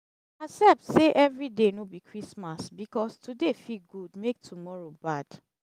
accept sey evri day no bi christmas bikos today fit gud mek tomoro bad